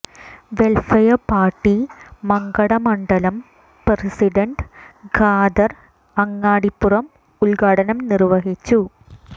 welfare party Mankada മണ്ഡലം president Khader Angadipuram ഉദ്ഘാടനം നിർവഹിച്ചു